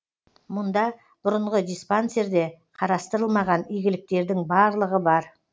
мұнда бұрынғы диспансерде қарастырылмаған игіліктердің барлығы бар